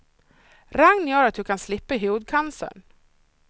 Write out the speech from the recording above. Regn gör att du kan slippa hudcancern.